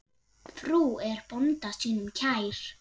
Frú er bónda sínum kær.